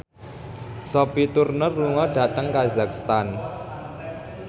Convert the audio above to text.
Sophie Turner lunga dhateng kazakhstan